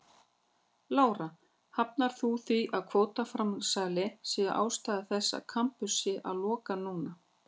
Lára: Hafnar þú því að kvótaframsalið sé ástæða þess að Kambur sé að loka núna?